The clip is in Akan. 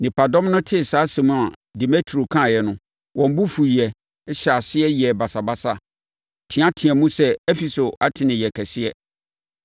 Nnipadɔm no tee saa asɛm a Demetrio kaeɛ no, wɔn bo fuiɛ, hyɛɛ aseɛ yɛɛ basabasa, teateaam sɛ, “Efeso Artemi yɛ kɛse!”